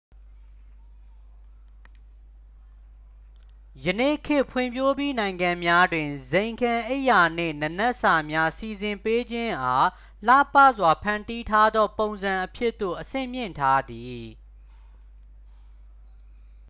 ယနေ့ခေတ် ဖွံ့ဖြိုးပြီးနိုင်ငံများတွင် ဇိမ်ခံအိပ်ယာနှင့် နံနက်စာများ စီစဉ်ပေးခြင်းအား လှပစွာဖန်တီးထားသော ပုံစံအဖြစ်သို့ အဆင့်မြှင့်ထားသည်